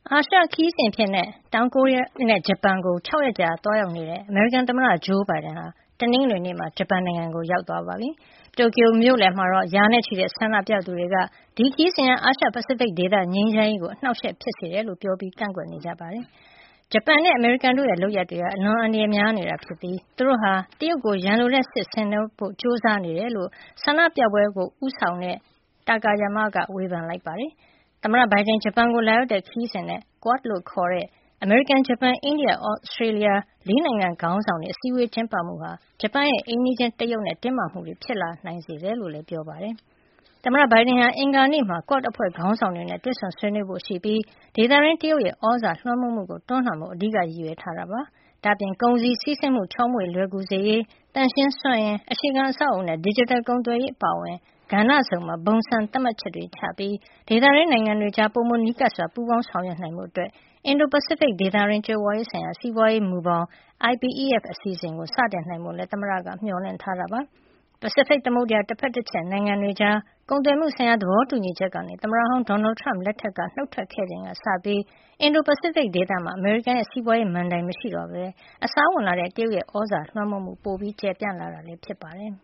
အာရှ ခရီးစဉ်အဖြစ် တောင်ကိုရီးယားနဲ့ ဂျပန်ကို ၆ ရက်ကြာ သွားရောက်နေတဲ့ အမေရိကန်သမ္မတ ဂျိုးဘိုင်ဒန်ဟာ တနင်္ဂနွေနေ့မှာ ဂျပန်နိုင်ငံကို ရောက်ရှိသွားပြီဖြစ်ပြီး တိုကျို မြို့လယ်မှာတော့ ရာနဲ့ချီတဲ့ ဆန္ဒပြသူတွေက ဒီခရီးစဉ်ဟာ အာရှ- ပစိဖိတ်ဒေသငြိမ်းချမ်းရေးကို အနှောက်အယှက်ဖြစ်တယ်လို့ ပြောပြီး ကန့်ကွက်ခဲ့ကြပါတယ်။ ဂျပန်နဲ့ အမေရိကန်တို့ရဲ့ လုပ်ရပ်တွေဟာ အလွန်အန္တရာယ်များနေတာ ဖြစ်ပြီး သူတို့ဟာ တရုတ်ကို ရန်လိုတဲ့စစ်ဆင်နွှဲဖို့ ကြိုးစားနေတယ်လို့ ဆန္ဒပြပွဲဦးဆောင်သူ Shunkichi Takayama က ဝေဖန်ပါတယ်။ သမ္မတဘိုင်ဒန် ဂျပန်ကို လာရောက်တဲ့ ခရီးစဉ်နဲ့ Quad လို့ခေါ်တဲ့ အမေရိကန်- ဂျပန်- အိန္ဒိယနဲ့ Australia ၄ နိုင်ငံခေါင်းဆောင်တွေ အစည်းဝေးကျင်းပမှုဟာ ဂျပန်ရဲ့ အိမ်နီးချင်း တရုတ် နဲ့ တင်းမာမှုတွေ ဖြစ်လာစေနိုင်တယ်လို့လည်း ပြောပါတယ်။ သမ္မတဘိုင်ဒန်ဟာ အင်္ဂါနေ့မှာ Quad အဖွဲ့ ခေါင်းဆောင်တွေနဲ့ တွေ့ဆုံဆွေးနွေးဖို့ရှိပြီး ဒေသတွင်း တရုတ်ရဲ့ သြဇာလွှမ်းမိုးမှုကို တွန်းလှန်ဖို့ အဓိက ရည်ရွယ်ထားတာ ဖြစ်ပါတယ်။ ဒါ့အပြင် ကုန်စည်စီးဆင်းမှု ချောမောလွယ်ကူစေရေး၊ သန့်ရှင်းစွမ်းအင်၊ အခြေခံအဆောက်အအုံနဲ့ ဒစ်ဂျစ်တယ်ကုန်သွယ်ရေး အပါအဝင် ကဏ္ဍစုံမှာ ဘုံစံသတ်မှတ်ချက်တွေချပြီး ဒေသတွင်းနိုင်ငံတွေကြား ပိုမိုနီးကပ်စွာပူးပေါင်းဆောင်ရွက်နိုင်ဖို့ အတွက် အင်ဒို- ပစိဖိတ်ဒေသတွင်း ကြွယ်ဝရေးဆိုင်ရာ စီးပွါးရေးမူဘောင် IPEF အစီအစဉ်ကို စတင်နိုင်ဖို့လည်း သမ္မတက မျှော်လင့်ထားတာပါ။ ပစိဖိတ်သမုဒ္ဒရာ တဖက်တချက်နိုင်ငံတွေကြား ကုန်သွယ်မှုဆိုင်ရာ သဘောတူညီချက်ကနေ သမ္မတဟောင်း ဒေါ်နယ်ထရမ့် လက်ထက်က နှုတ်ထွက်ခဲ့ချိန်ကစပြီး အင်ဒို ပစိဖိတ်ဒေသမှာ အမေရိကန်ရဲ့ စီးပွါးရေးမဏ္ဍိုုင် မရှိတော့ပဲ အစားဝင်လာတဲ့ တရုတ်ရဲ့ သြဇာလွှမ်းမိုးမှု ပိုမို ကျယ်ပြန့်လာတာ ဖြစ်ပါတယ်